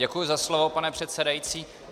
Děkuji za slovo, pane předsedající.